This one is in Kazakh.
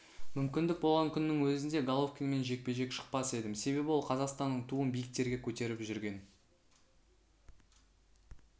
мүмкіндік болған күннің өзінде головкинмен жекпе-жекке шықпас едім себебі ол қазақстанның туын биіктерге көтеріп жүрген